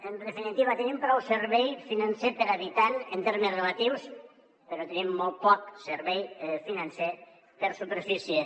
en definitiva tenim prou servei financer per habitant en termes relatius però tenim molt poc servei financer per superfície